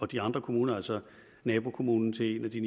de andre kommuner altså nabokommunen til en af de